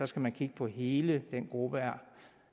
skal man kigge på hele den gruppe